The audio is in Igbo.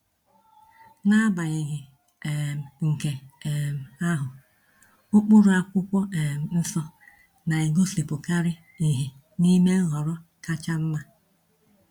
N’agbanyeghị um nke um ahụ, ụkpụrụ Akwụkwọ um Nsọ na-egosipụkarị ìhè n’ime nhọrọ kacha mma.